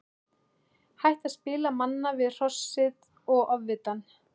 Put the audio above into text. Hætta að spila manna við Hrossið og Ofvitann.